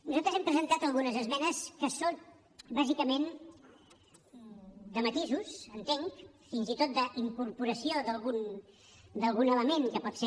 nosaltres hem presentat algunes esmenes que són bàsicament de matisos entenc fins i tot d’incorporació d’algun element que pot ser